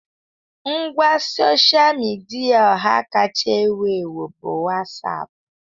Ngwa sosha midia ọha kacha ewu ewu bụ Wasapu.